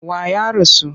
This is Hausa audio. Wa ya rasu?